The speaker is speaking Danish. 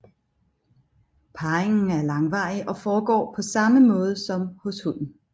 Parringen er langvarig og foregår på samme måde som hos hunden